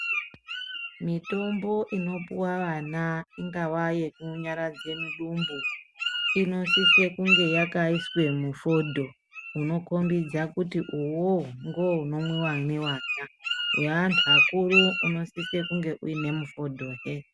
Mitombo ino puwa vana ingava yeku nyaradze mudumbu inosise kunge yakaiswe mufodho unokombidza kuti iwowo ndiwo unonwiwa nevana. Weantu akuru unosise kunge uine mifodho hee.